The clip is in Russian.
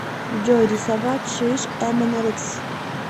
джой рисовать шиш эмэнэрикс